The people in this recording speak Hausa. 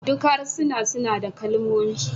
Duk harsuna suna da kalmomi